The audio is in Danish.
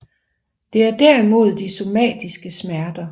Det er derimod de somatiske smerter